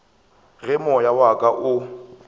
ge moya wa ka o